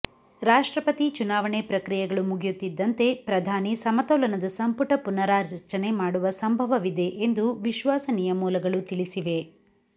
ರಾಷ್ಟ್ರಪತಿ ಚುನಾವಣೆ ಪ್ರಕ್ರಿಯೆಗಳು ಮುಗಿಯುತ್ತಿದ್ದಂತೆ ಪ್ರಧಾನಿ ಸಮತೋಲನದ ಸಂಪುಟ ಪುನರಾಚನೆ ಮಾಡುವ ಸಂಭವವಿದೆ ಎಂದು ವಿಶ್ವಾಸನೀಯ ಮೂಲಗಳು ತಿಳಿಸಿವೆ